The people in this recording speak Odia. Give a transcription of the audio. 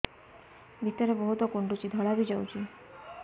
ଭିତରେ ବହୁତ କୁଣ୍ଡୁଚି ଧଳା ବି ଯାଉଛି